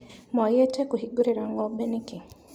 Mwagĩte kũhingũrĩra ngombe nĩkĩ.